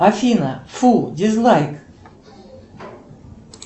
афина фу дизлайк